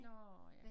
Nårh ja